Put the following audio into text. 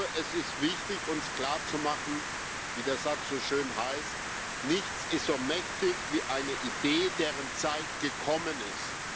Es ist wichtig, uns klarzumachen, wie das halt es so schön heißt Nichts ist so mächtig wie eine Idee, deren Zeit gekommen ist.